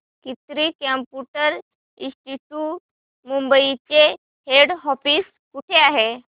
कीर्ती computer institute Mumbai चे head office कुठे आहे